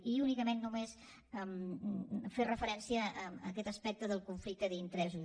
i únicament només fer referència a aquest aspecte del conflicte d’interessos